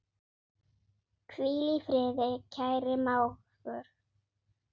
Hvíl í friði, kæri mágur.